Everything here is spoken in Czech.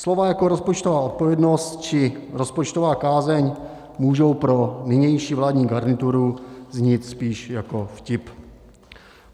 Slova jako rozpočtová odpovědnost či rozpočtová kázeň můžou pro nynější vládní garnituru znít spíš jako vtip.